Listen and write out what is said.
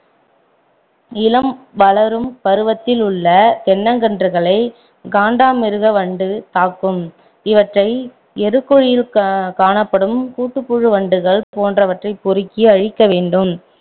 இளம் வளரும் பருவத்தில் உள்ள தென்னங்கன்றுகளை காண்டாமிருக வண்டு தாக்கும் இவற்றை எருக்குழியில் கா~ காணப்படும் கூட்டுப்புழு வண்டுகள் போன்றவற்றைப் பொறுக்கி அழிக்க வேண்டும்